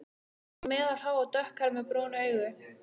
Hún er meðalhá og dökkhærð með brún augu.